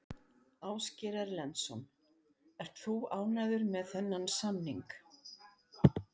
Ásgeir Erlendsson: Ert þú ánægður með þennan samning?